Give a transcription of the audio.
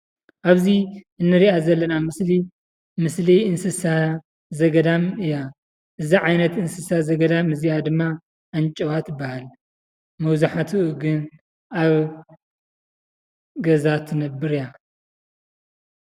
ኣብዚ እንርእያ ዘለና ምስሊ ምስሊ እንስሳ ዘገዳም እያ። እዛ ዓይነት እንስሳ ዘገዳም እዚኣ ድማ ኣንጭዋ ትባሃል። መብዛሕትኡ ግን ኣብ ገዛ እትነበር እያ።